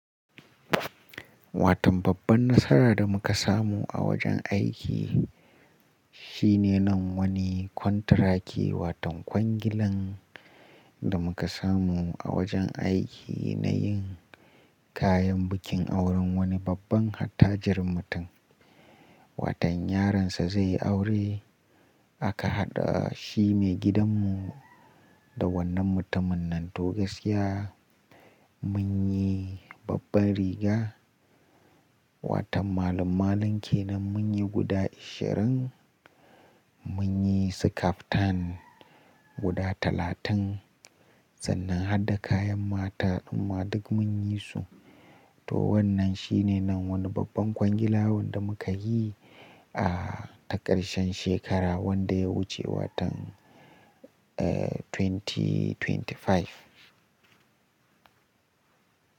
Watan babban nasara da muka samu a wajen aiki shine nan wani kwantiraki watan kwangilan da muka samu a wajen aiki na yin kayan bikin auren wani babban hattajir mutum. Watan yaron sa zai yi aure aka haɗa shi maigidan mu da wannan mutumin nan. Toh gaskiya mun yi babban riga watan malan-malan ke nan munyi guda ashirin, mun yi su kaftan guda talatin sannan hada kayan mata amma duk mun yi su. Toh wannan shine nan wani babban kwangilawun da muka yi a takarshen shekara wanda ya wuce watan, eh, dubu biyu da ashirin da biyar.